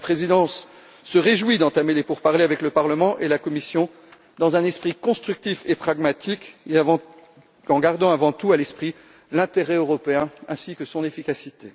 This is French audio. Elle se réjouit d'entamer les pourparlers avec le Parlement et la Commission dans un esprit constructif et pragmatique et en gardant avant tout à l'esprit l'intérêt européen ainsi que son efficacité.